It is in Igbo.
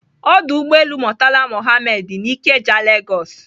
Ọdụ ụgbọelu Murtala Muhammed dị na Ikeja, Lagos.